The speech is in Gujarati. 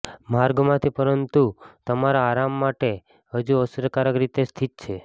માર્ગમાંથી પરંતુ તમારા આરામ માટે હજુ અસરકારક રીતે સ્થિત છે